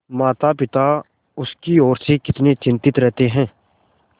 मातापिता उसकी ओर से कितने चिंतित रहते हैं